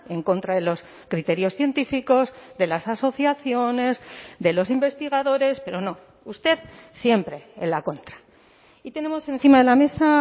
en contra de los criterios científicos de las asociaciones de los investigadores pero no usted siempre en la contra y tenemos encima de la mesa